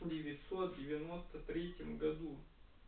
девятьсот девяносто третьем году